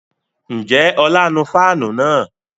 Ǹjẹ́ ọlá nu fáànù náà?